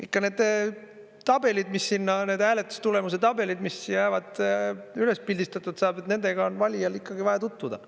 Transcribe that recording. Ikka need tabelid, need hääletustulemuse tabelid, mis jäävad üles ja üles pildistatud saavad – nendega on valijal ikkagi vaja tutvuda.